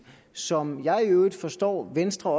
som jeg i øvrigt forstår at venstre